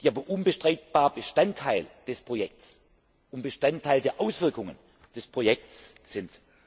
die aber unbestreitbar Bestandteil des Projekts und Bestandteil der Auswirkungen des Projekts sind.